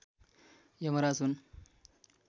यमराज हुन्